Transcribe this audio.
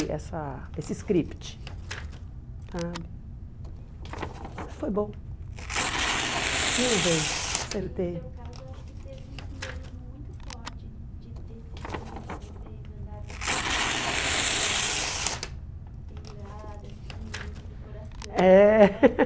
essa esse script sabe. Mas foi bom. Não errei, acertei. No seu caso, acho que teve um simbolismo muito forte de desses anos que vocês andaram com a com a aliança pendurada assim, junto do coração. É